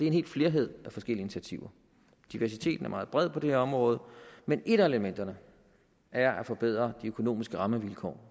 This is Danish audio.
en hel flerhed af initiativer diversiteten er meget bred på det her område men et af elementerne er at forbedre de økonomiske rammevilkår